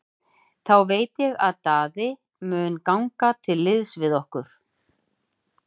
Þá veit ég að Daði mun ganga til liðs við okkur.